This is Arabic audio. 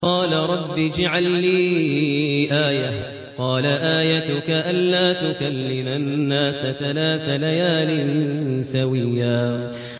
قَالَ رَبِّ اجْعَل لِّي آيَةً ۚ قَالَ آيَتُكَ أَلَّا تُكَلِّمَ النَّاسَ ثَلَاثَ لَيَالٍ سَوِيًّا